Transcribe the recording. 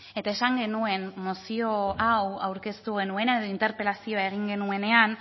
eta esan genuen mozio hau aurkeztu genuenean edo interpelazioa egin genuenean